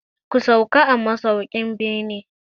Ku sauka a masaukin beni.